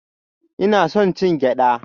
Ina son cin gyada